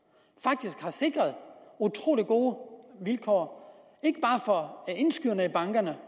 har sikret utrolig gode vilkår ikke bare for indskyderne i bankerne